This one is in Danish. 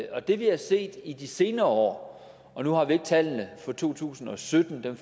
og det vi har set i de senere år og nu har vi ikke tallene for to tusind og sytten dem